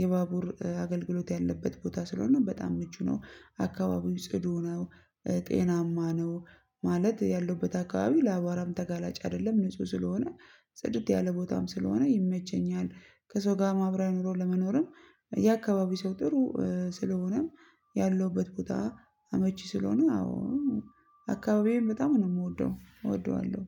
የባቡር አገልግሎት ያለበት ቦታ ስለሆነ በጣም ምቹ ነው። አካባቢው ጽዱ ነው። ጤናማ ነው ማለት ያለበት አካባቢ ለአባራም ተጋላጭ አይደለም ንጹህ ስለሆነ ጽድት ያለ ቦታም ስለሆነ ይመቸኛል። ከሰው ጋር ማህበራዊ ኑሮ ለመኖርም የአካባቢው ሰው ጥሩ ስለሆነም ያለሁበት ቦታ አመቺ ስለሆነ አዎ አካባቢዬን በጣም ነው የምወደው እወደዋለሁ